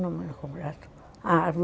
Número completo.